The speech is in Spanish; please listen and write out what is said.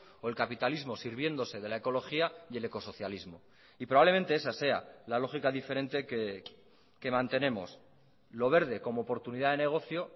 o el capitalismo sirviéndose de la ecología y el ecosocialismo y probablemente esa sea la lógica diferente que mantenemos lo verde como oportunidad de negocio